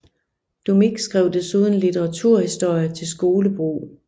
Doumic skrev desuden litteraturhistorie til skolebrug